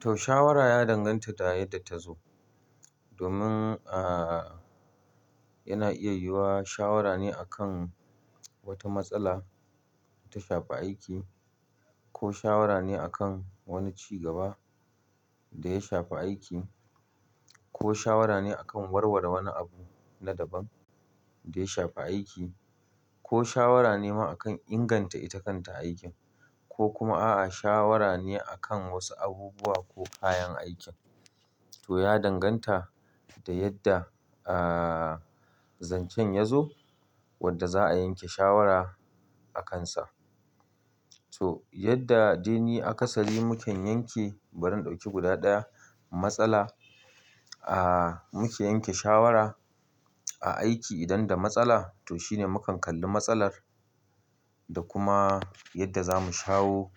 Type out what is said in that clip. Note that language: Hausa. To shawara ya danganta da yadda ta zo. Domin, aaaa yana iya yiwuwa shawara ne a kan wata matsala ta shafi aiki, ko shawara ne a kan wani ci gaba da ya shafi aiki, ko shawara ne a kan warware wani abu na daban da ya shafi aiki, ko shawara ne ma akan inganta ita kanta aikin, ko kuma a'a shawara ne a kan wasu abubuwa ko kayan aikin. To ya danganta da yadda aaaa zancen ya zo wadda za'a yanke shawara akansa. So yadda dai ne akasari muke yanke, bari in ɗauki guda ɗaya, matsala aaaa muke yanke shawara a aiki idan da matsala to shine mukan kalli matsalar da kuma yadda zamu shawo